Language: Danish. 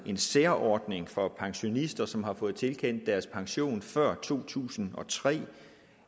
en særordning for pensionister som har fået tilkendt deres pension før to tusind og tre